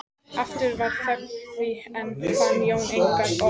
Aftur varð þögn því enn fann Jón engin orð.